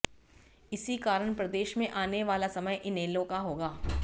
इसी कारण प्रदेश में आने वाला समय इनेलो का होगा